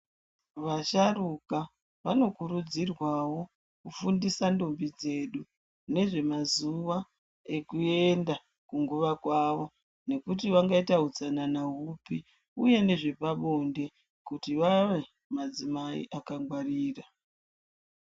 Vasharuka vanokurudzirwao kufundise ndombi dzedu nezvemazuwa ekuenda kunguva kwavo mekuti vangaita utsanana hupi uye nezvepabonde kuti vave madzimai akangwarira.